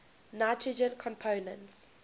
nitrogen compounds